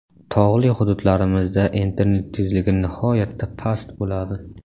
Tog‘li hududlarimizda internet tezligi nihoyatda past bo‘ladi.